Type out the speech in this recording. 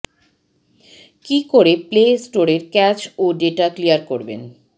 কি করে প্লে স্টোরের ক্যাচ ও ডেটা ক্লিয়ার করবেন